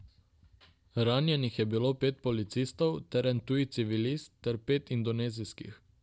Ranjenih je bilo pet policistov ter en tuji civilist ter pet indonezijskih.